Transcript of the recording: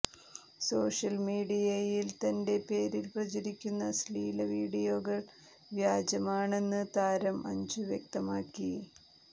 social മീഡിയയിൽ തന്റെ പേരിൽ പ്രചരിക്കുന്ന അശ്ലീല വീഡിയോകൾ വ്യാജമാണെന്ന് താരം അഞ്ജു വ്യക്തമാക്കി